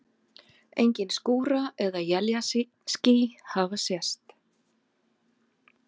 Engin skúra- eða éljaský hafa sést.